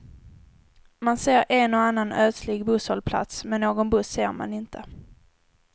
Man ser en och annan ödslig busshållplats, men någon buss ser man inte.